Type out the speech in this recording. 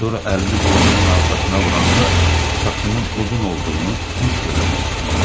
Sonra əlimi boynumun arxasına vuranda saçımın uzun olduğunu hiss eləmək istəyirəm.